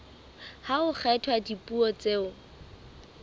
ha ho kgethwa dipuo tseo